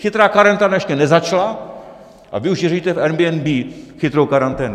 Chytrá karanténa ještě nezačala a vy už řešíte v Airbnb chytrou karanténu!